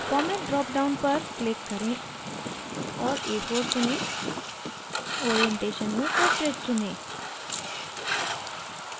format dropdown पर click करें और a4 चुनें orientation में portrait चुनें